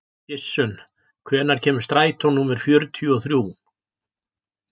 Gissunn, hvenær kemur strætó númer fjörutíu og þrjú?